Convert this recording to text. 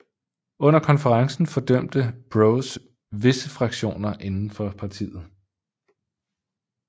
Under konferencen fordømte Broz visse fraktioner inden for partiet